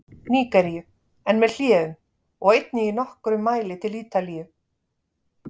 Nígeríu, en með hléum, og einnig í nokkrum mæli til Ítalíu.